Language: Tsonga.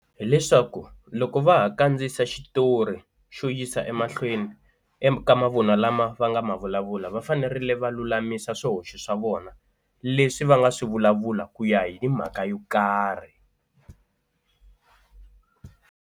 Hi leswaku loko va ha kandziyisa xitori xo yisa emahlweni eka mavun'wa lama va nga ma vulavula va fanerile va lulamisa swihoxo swa vona leswi va nga swi vulavula ku ya hi mhaka yo karhi.